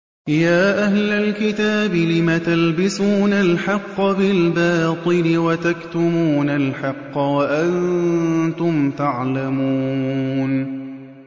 يَا أَهْلَ الْكِتَابِ لِمَ تَلْبِسُونَ الْحَقَّ بِالْبَاطِلِ وَتَكْتُمُونَ الْحَقَّ وَأَنتُمْ تَعْلَمُونَ